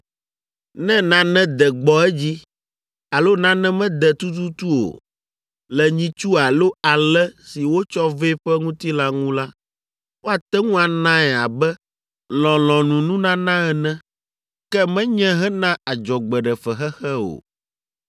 Ne nane de gbɔ edzi alo nane mede tututu o le nyitsu alo alẽ si wotsɔ vɛ ƒe ŋutilã ŋu la, woate ŋu anae abe lɔlɔ̃nununana ene, ke menye hena adzɔgbeɖefexexe o.